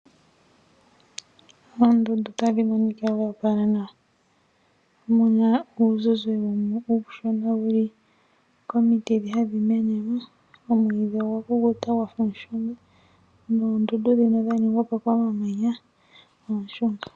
Oondundu tadhi monikwa dhoopala nawa, muna uuzizi uushona wuli komiti dhi hadhi menemo. Oomwiidhi ogwa kukuta gwafa omushunga, noondundu dhino dha ningwapo komamanya ooshunga.